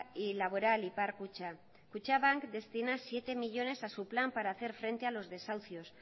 y laboral ipar kutxa kutxabank destina siete millónes a su plan para hacer frente a los desahucios